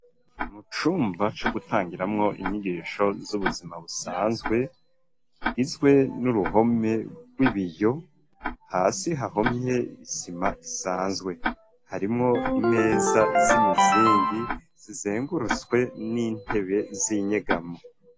Mu cumba co gutangiramwo inyigisho z'ubuzima busanzwe, kigizwe n'uruhome rw'ibiyo, hasi hahomye isima isanzwe ,harimwo imeza z'imizingi zizingurutswe n'intebe z'inyegamo.